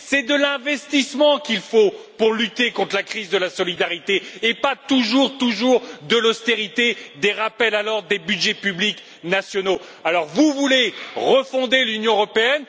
C'est de l'investissement qu'il faut pour lutter contre la crise de la solidarité, et non toujours de l'austérité, des rappels à l'ordre et des budgets publics nationaux. Vous voulez refonder l'Union européenne?